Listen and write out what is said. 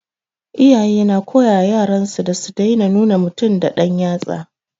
Iyaye na koyawa yaran su da su daina nuna mutum da dan yatsa